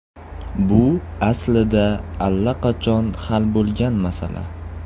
Bu aslida allaqachon hal bo‘lgan masala.